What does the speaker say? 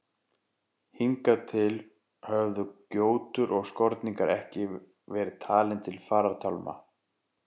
Hingað til höfðu gjótur og skorningar ekki verið talin til farartálma.